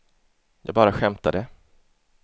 jag bara skämtade